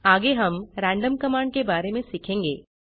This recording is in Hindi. आगे हम रैंडम कमांड के बारे में सीखेंगे